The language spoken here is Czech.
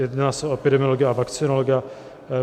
Jedná se o epidemiologa a vakcinologa.